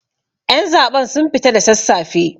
Ƴan zaben sun fita da sassafe